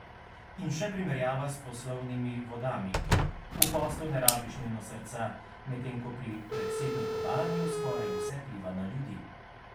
In še primerjava s poslovnimi vodami: 'V poslu ne rabiš nujno srca, medtem ko pri predsednikovanju skoraj vse vpliva na ljudi ...